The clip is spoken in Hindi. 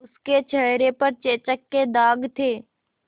उसके चेहरे पर चेचक के दाग थे